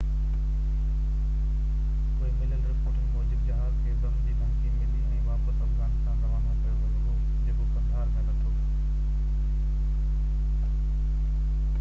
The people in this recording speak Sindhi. پوءِ مليل رپورٽن موجب جهاز کي بم جي ڌمڪي ملي ۽ واپس افغانستان روانو ڪيو ويو هو جيڪو قندهار ۾ لٿو